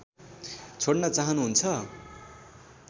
छोड्न चाहनु हुन्छ